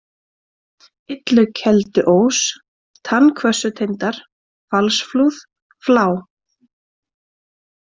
Illukelduós, Tannhvössutindar, Falsflúð, Flá